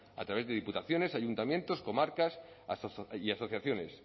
a través de diputaciones ayuntamientos comarcas y asociaciones